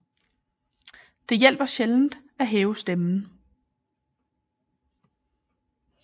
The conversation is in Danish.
Det hjælper sjældent at hæve stemmen